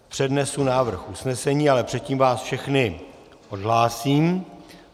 Přednesu návrh usnesení, ale předtím vás všechny odhlásím.